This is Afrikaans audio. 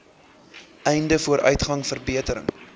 einde vooruitgang verbetering